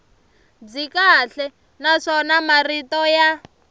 byi kahle naswona marito ya